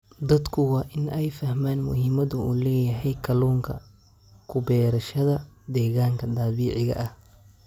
Dadku waa in ay fahmaan muhiimada uu leeyahay kalluun ku beerashada deegaanka dabiiciga ah.